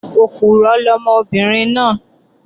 Òpùrọ́ lọmọbìnrin náà